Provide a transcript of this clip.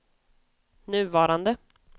nuvarande